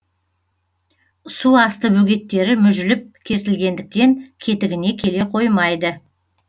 су асты бөгеттері мүжіліп кертілгендіктен кетігіне келе қоймайды